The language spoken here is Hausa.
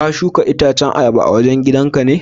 ka shuka itacen ayaba a wajen gidan ka ne?